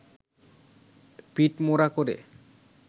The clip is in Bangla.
পিঠমোড়া করে